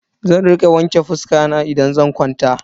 Zan rika wanke fuska na idan zan kwanta.